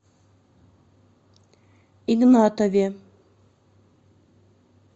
игнатове